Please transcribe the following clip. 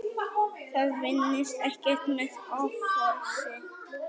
Það vinnist ekkert með offorsi.